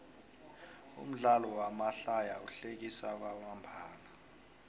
umdlalo wamahlaya uhlekisa kwamambala